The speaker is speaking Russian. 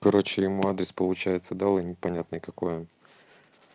короче ему адрес получается дал и непонятный какой он